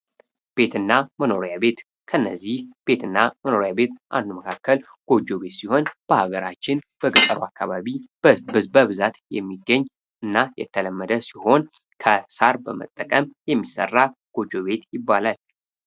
ቤትና መኖሪያ ቤት ከእነዚህ ቤትና መኖሪያ ቤት አንዱ መካከል ጎጆ ቤት ሲሆን በሀገራችን በገጠሩ አካባቢ በብዛት የሚገኝ እና የተለመደ ሲሆን ከሳር በመጠቀም የሚሰራ ጎጆ ቤት ይባላል።